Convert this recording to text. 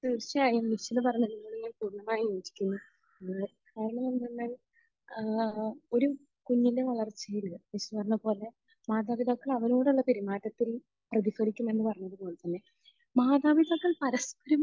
തീർച്ചയായും. നിഷിദ പറഞ്ഞതിനോട് ഞാൻ പൂർണമായും യോജിക്കുന്നു. കാരണമെന്തെന്നാൽ ഏഹ് ഒരു കുഞ്ഞിന്റെ വളർച്ചയിൽ നിഷിദ പറഞ്ഞതുപോലെ മാതാപിതാക്കൾ അവരോടുള്ള പെരുമാറ്റത്തിൽ പ്രതിഫലിക്കുമെന്ന് . മാതാപിതാക്കൾ പരസ്പരം